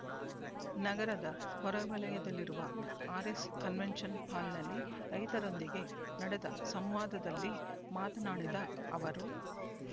ನಗರದ ಹೊರವಲಯದಲ್ಲಿರುವ RS convention ಹಾಲ್‌ನಲ್ಲಿ ರೈತರೊಂದಿಗೆ ನಡೆದ ಸಂವಾದದಲ್ಲಿ ಮಾತನಾಡಿದ ಅವರು